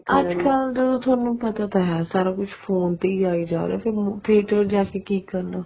ਅੱਜਕਲ ਥੋਨੂੰ ਪਤਾ ਤਾਂ ਹੈ ਸਾਰਾ ਕੁੱਝ phone ਤੇ ਹੀ ਆਈ ਜਾ ਰਿਹਾ theater ਜਾ ਕੇ ਕੀ ਕਰਨਾ